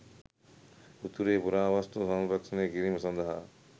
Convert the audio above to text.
උතුරේ පුරාවස්තු සංරක්‍ෂණය කිරීම සඳහා